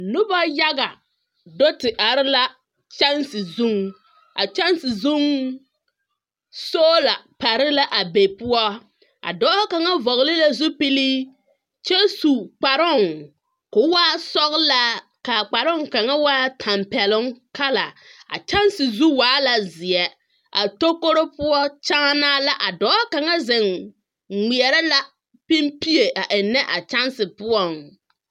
Noba yaga do te are la kyɛnse zuŋ. A kyɛnse zuŋ, soola do te pare la a poɔ. A dɔɔ kaŋa vɔɔle la zupili kyɛ zu kparoo koo waa sɔglaa, a kparoo kaŋa waa la tampɛloŋ kala. A kyɛnse zu waa la zeɛ, A tokoro poɔ kyᾱᾱnᾱᾱ la. A dɔɔ kaŋa zeŋ ŋmeɛrɛ la pimbie a ennɛ o poɔŋ.